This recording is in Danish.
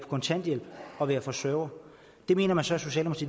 kontanthjælp og er forsørger det mener man så